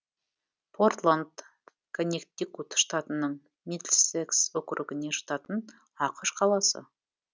портланд коннектикут штатының мидльсекс округіне жататын ақш қаласы